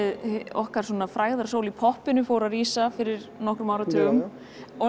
okkar frægðarsól í poppinu fór að rísa fyrir nokkrum áratugum